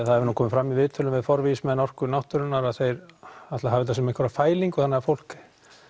það hefur nú komið fram í viðtölum við forvígismenn Orku náttúrunnar að þeir ætli að hafa þetta sem einhverja fælingu þannig að fólk